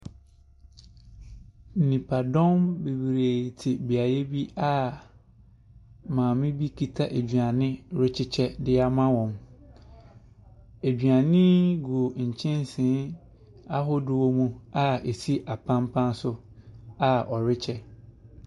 Nnipadɔm bebree te beaeɛ bi a maame bi kita aduane rekyekyɛ de ama wɔn. Aduane yi gu nkyɛnse ahodoɔ mu a ɛsi apampa so a ɔrekyɛ.